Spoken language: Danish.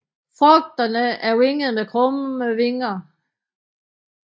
Frugterne er vingede med krumme vinger